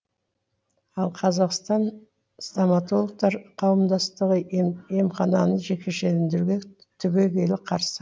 ал қазақстан стоматологтар қауымдастығы емхананы жекешелендіруге түбегейлі қарсы